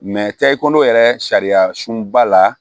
tɛ i kɔnɔ yɛrɛ sariya sunba la